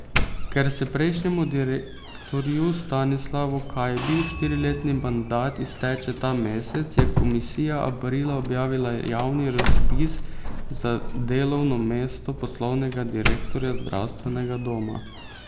Ker se prejšnjemu direktorju Stanislavu Kajbi štiriletni mandat izteče ta mesec, je komisija aprila objavila javni razpis za delovno mesto poslovnega direktorja zdravstvenega doma.